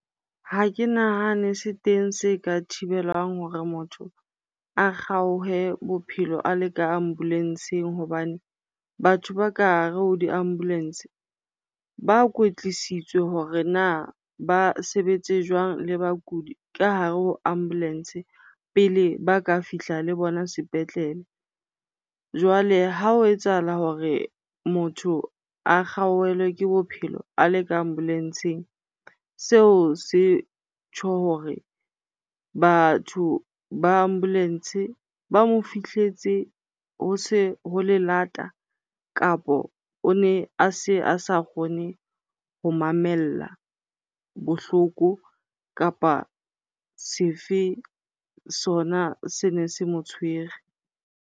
Ha ke nahane se teng se ka thibelang hore motho a kgaohe bophelo a le ka ambulence-eng. Hobane batho ba ka hare ho di-ambulance-e ba kwetlisitswe hore na ba sebetse jwang le bakudi ka hare ho ambulance pele ba ka fihla le bona sepetlele. Jwale ha ho etsahala hore motho a kgaohelwe ke bophelo a le ka ambulance-eng, seo se tjho hore batho ba ambulence ba mo fihletse ho se ho le lata kapo o ne a se a sa kgone ho mamella bohloko kapa sefe sona se ne se mo tshwere.